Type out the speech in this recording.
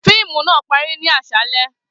Fiimu naa pari ni aṣalẹ.